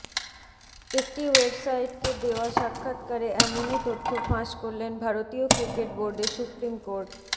একটি ওয়েবসাইটকে দেওয়া সাক্ষাৎকারে এমনই তথ্য ফাঁস করলেন ভারতীয় ক্রিকেট বোর্ডে সুপ্রিম কোর্ট